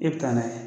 E bɛ taa n'a ye